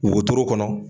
Wotoro kɔnɔ